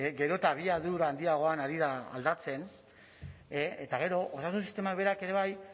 gero eta abiadura handiagoan ari da aldatzen eta gero osasun sistemak berak ere bai